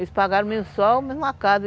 Eles pagaram, em uma casa.